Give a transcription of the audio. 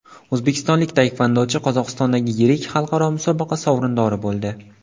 O‘zbekistonlik taekvondochi Qozog‘istondagi yirik xalqaro musobaqa sovrindori bo‘ldi.